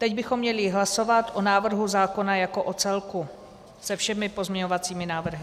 Teď bychom měli hlasovat o návrhu zákona jako o celku se všemi pozměňovacími návrhy.